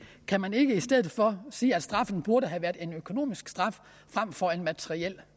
kan man ikke i stedet for sige at straffen burde have været en økonomisk straf fremfor en materiel